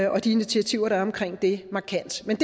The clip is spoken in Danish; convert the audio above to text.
og de initiativer der er omkring det markant men